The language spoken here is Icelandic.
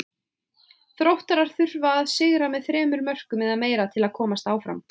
Þróttarar þurfa að sigra með þremur mörkum eða meira til að komast áfram.